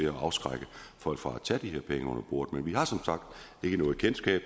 at afskrække folk fra at tage imod de her penge under bordet vi har som sagt ikke noget kendskab